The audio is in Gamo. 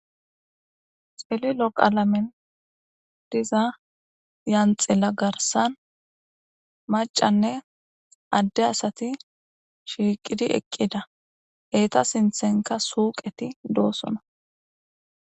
Cililo qalamey diza lanxila gaththan macanne ade asati shiqid eqida eeta sinththenikka suqet de'osonna